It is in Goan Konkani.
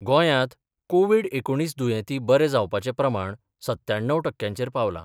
गोंयांत कोव्हीड एकुणीस दुयेंती बरे जावपाचें प्रमाण सत्त्याण्णव टक्क्यांचेर पावलां.